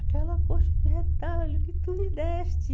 Aquela colcha de retalho que tu me deste.